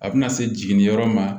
A bɛna se jiginniyɔrɔ ma